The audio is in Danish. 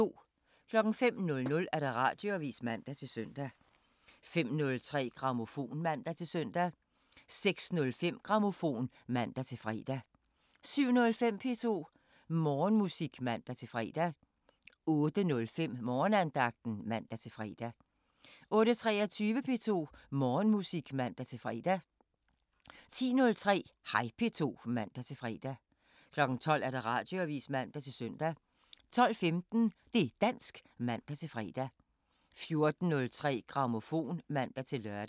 05:00: Radioavisen (man-søn) 05:03: Grammofon (man-søn) 06:05: Grammofon (man-fre) 07:05: P2 Morgenmusik (man-fre) 08:05: Morgenandagten (man-fre) 08:23: P2 Morgenmusik (man-fre) 10:03: Hej P2 (man-fre) 12:00: Radioavisen (man-søn) 12:15: Det' dansk (man-fre) 14:03: Grammofon (man-lør)